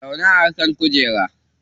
Zauna a kan kujera